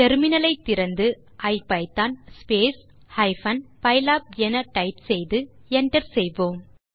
முனையத்தை திறந்து ஐபிதான் pylab என டைப் செய்து enter செய்யலாம்